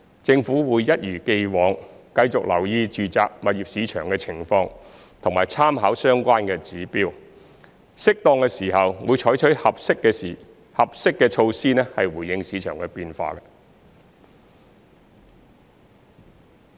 政府會一如既往，繼續留意住宅物業市場的情況和參考相關指標，適當的時候會採取合適的措施回應市場變化。